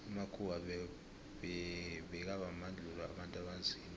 amakhuwa bekabandluua abantu abanzima